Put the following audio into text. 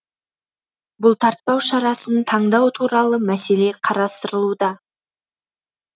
бұлтартпау шарасын таңдау туралы мәселе қарастырылуда